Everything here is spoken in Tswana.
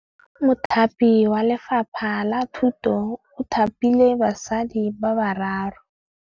Mothapi wa Lefapha la Thutô o thapile basadi ba ba raro.